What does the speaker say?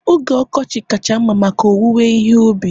oge ọkọchị kacha mma maka owuwe ihe ubi